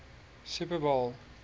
super bowl